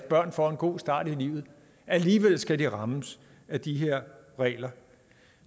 børn får en god start i livet alligevel skal de rammes af de her regler